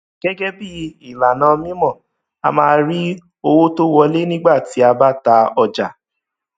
gẹgẹ bí ìlànà mímọ a máa rí owó tó wọlé nígbà tí a bá ta ọjà